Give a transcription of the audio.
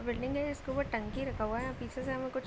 Building है जिसके उपर टंकी रखा हुआ है। यहां पीछे से हमें कुछ --